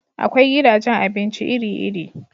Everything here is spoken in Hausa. Akwai gidajen abinci iri-iri.